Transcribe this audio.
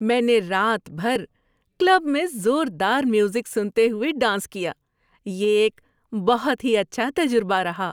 میں نے رات بھر کلب میں زوردار میوزک سنتے ہوئے ڈانس کیا۔ یہ ایک بہت ہی اچھا تجربہ رہا۔